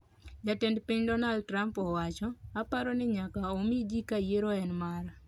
Jatend piny Donald Trump owacho:"Aparo ni nyaka omi ji ka yiero en mara".